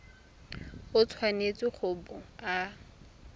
o tshwanetse go bo o